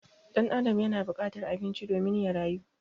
Ɗan Adam yana bukatar abinci domin ya rayu